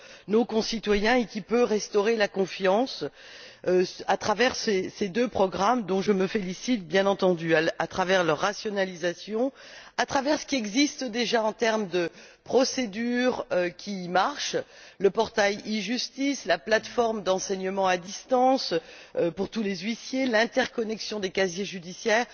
nos concitoyens et qui peut restaurer la confiance à travers ces deux programmes, dont je me félicite, bien entendu, à travers leur rationalisation et à travers ce qui existe déjà en termes de procédures qui marchent le portail e Justice, la plateforme d'enseignement à distance pour tous les huissiers et l'interconnexion des casiers judiciaires.